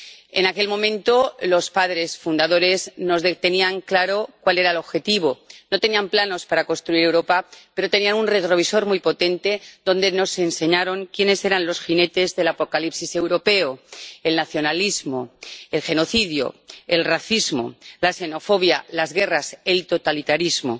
En aquel momento, los padres fundadores tenían claro cuál era el objetivo no tenían planos para construir Europa, pero tenían un retrovisor muy potente con el que nos enseñaron quiénes eran los jinetes del apocalipsis europeo el nacionalismo, el genocidio, el racismo, la xenofobia, las guerras, el totalitarismo.